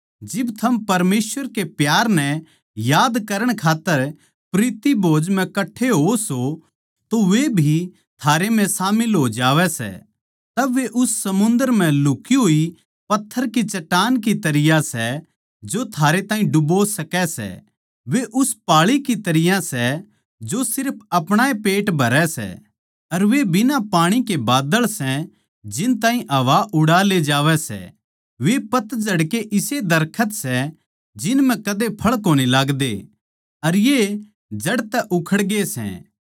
जिब थम परमेसवर के प्यार नै याद करण खात्तर प्रीति भोज म्ह कठ्ठे होओ सों तो वे भी थारै म्ह शामिल हो जावै सै तब वे उस समुन्दर म्ह लुक्ही होए पत्थर की चट्टान की तरियां सै जो थारे ताहीं डुबो सकै सै वे उस पाळी की तरियां सै जो सिर्फ अपणा पेट भरण सै अर वे बिना पाणी के बादल सै जिन ताहीं हवा उड़ा ले जावै सै वे पतझड़ के इसे पेड़ सै जिन म्ह कदे फळ कोनी लाग्दे अर ये जड़ तै उखड़गे सै